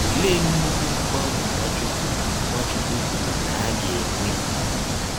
Ọlee nnụkwụ mgbanwe Nwachụkwụ Nwachụkwụ kwụrụ na a ga - enwe?